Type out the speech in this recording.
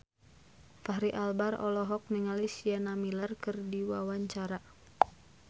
Fachri Albar olohok ningali Sienna Miller keur diwawancara